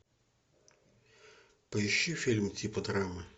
поищи фильм типа драмы